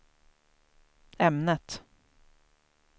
ämnet